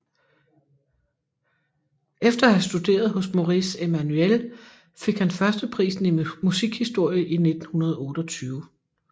Efter at have studeret hos Maurice Emmanuel fik han førsteprisen i musikhistorie i 1928